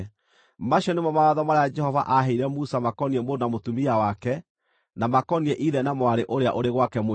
Macio nĩmo mawatho marĩa Jehova aaheire Musa makoniĩ mũndũ na mũtumia wake, na makoniĩ ithe na mwarĩ ũrĩa ũrĩ gwake mũciĩ.